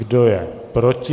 Kdo je proti?